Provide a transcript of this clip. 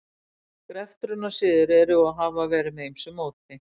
Greftrunarsiðir eru og hafa verið með ýmsu móti.